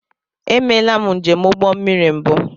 E meela m njem ụgbọ mmiri mbụ.